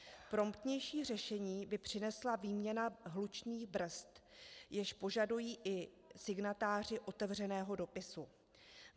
Promptnější řešení by přinesla výměna hlučných brzd, již požadují i signatáři otevřeného dopisu.